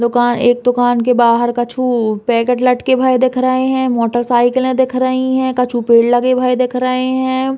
दुका एक दुकान के बाहर कछु पैकेट लटके भये दिख रहे है मोटरसाइकिले दिख रही है कछु पेड़ लगे भये दिख रहे हैं।